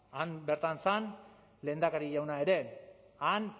han bertan zen lehendakari jauna ere han